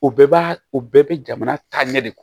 U bɛɛ b'a o bɛɛ bɛ jamana taa ɲɛ de